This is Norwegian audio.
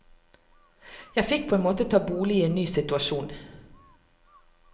Jeg fikk på en måte ta bolig i en ny situasjon.